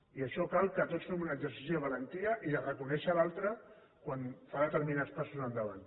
i en això cal que tots fem un exercici de valentia i de reconèixer l’altre quan fa determinats passos endavant